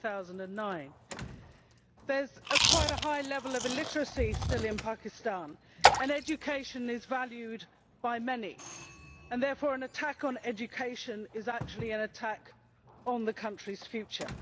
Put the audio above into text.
2009. There is quite a high level of illiteracy still in Pakistan, and education is valued by many. Therefore, an attack on education is actually an attack on the country's future.